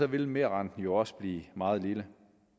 vil merrenten jo også blive meget lille